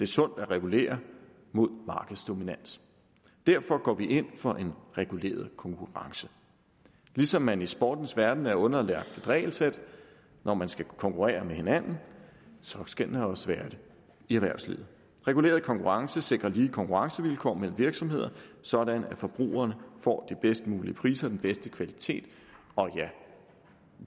sundt at regulere mod markedsdominans derfor går vi ind for en reguleret konkurrence ligesom man i sportens verden er underlagt et regelsæt når man skal konkurrere med hinanden skal man også være det i erhvervslivet reguleret konkurrence sikrer lige konkurrencevilkår mellem virksomheder sådan at forbrugerne får de bedst mulige priser og den bedste kvalitet og ja